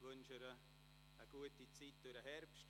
Ich wünsche ihr eine gute Zeit während des Herbsts.